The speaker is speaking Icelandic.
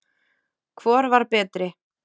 Hvor var betri?